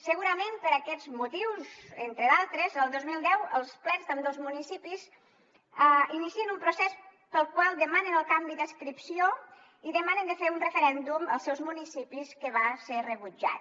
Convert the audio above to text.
segurament per aquests motius entre d’altres el dos mil deu els plens d’ambdós municipis inicien un procés pel qual demanen el canvi d’adscripció i demanen de fer un referèndum als seus municipis que va ser rebutjat